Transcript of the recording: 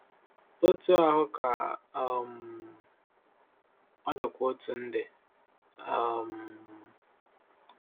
Otú ahụ ka um ọ dịkwa otu ndị. um